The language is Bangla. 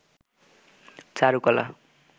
চারুকলা